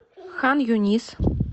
хан юнис